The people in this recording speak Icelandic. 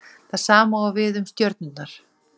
Það sama á við um stjörnurnar.